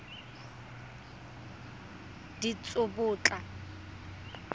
ditsobotla